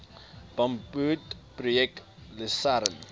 bamboed projek lusern